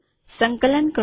સંકલન કરું